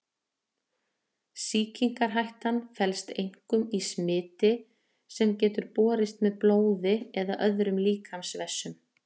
sýkingarhættan felst einkum í smiti sem getur borist með blóði eða öðrum líkamsvessum